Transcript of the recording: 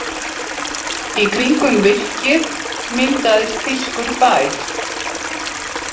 Í kringum virkið myndaðist þýskur bær.